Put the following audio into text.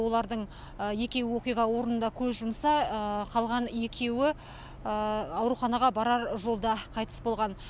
олардың екеуі оқиға орнында көз жұмса қалған екеуі ауруханаға барар жолда қайтыс болған